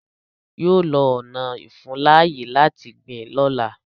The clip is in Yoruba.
Yọ lọ ọna ìfuńláyè láti gbìn lọ́la.